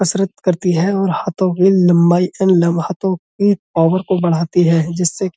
कसरत करती है और हाथों की लंबाई एन लम् हाथों की पावर को बढ़ाती है जिससे --